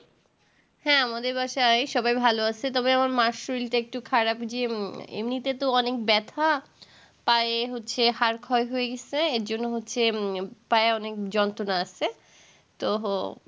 হ্যাঁ আমাদের বাসায় সবাই ভালো আছে তবে আমার মার শরীরটা একটু খারাপ যে এমনি তে তো অনেক ব্যাথা পায়ে হচ্ছে হাড় ক্ষয় গেছে এর জন্যে হচ্ছে পায়ে অনেক যন্ত্রনা আসছে তোহ